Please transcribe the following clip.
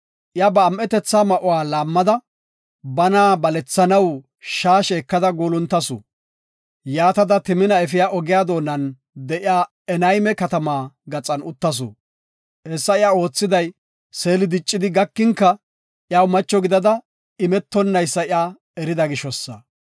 Iya ba am7etetha ma7uwa laammada, bana balethanaw shaashe ekada guuluntasu. Yaatada, Timina efiya ogiya doonan de7iya Enayme katama gaxan uttasu. Hessa iya oothidaysi, Seeli diccidi gakinka iyaw macho gidada imetonaysa iya erida gishosa.